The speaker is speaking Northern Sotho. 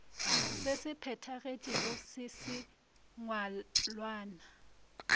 se se phethagetšego sa sengwalwana